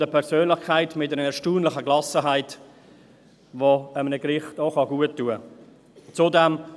Zudem ist er eine Persönlichkeit mit einer erstaunlichen Gelassenheit, die einem Gericht auch gut tun kann.